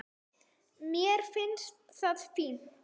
Mér finnst það fínt.